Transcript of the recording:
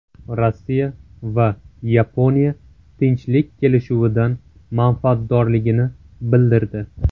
Rossiya va Yaponiya tinchlik kelishuvidan manfaatdorligini bildirdi.